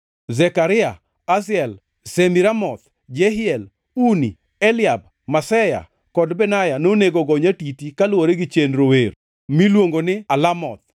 Zekaria, Aziel, Shemiramoth, Jehiel, Uni, Eliab, Maseya kod Benaya nonego go nyatiti kaluwore gi chenro wer miluongo ni alamoth, + 15:20 Kit wer mane jogi wero.